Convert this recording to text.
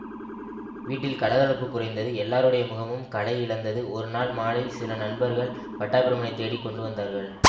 வீட்டில் கலகலப்புக் குறைந்தது எல்லாருடைய முகமும் களை இழந்தது ஒரு நாள் மாலை சில நண்பர்கள் பட்டாபிராமனைத் தேடிக் கொண்டு வந்தார்கள்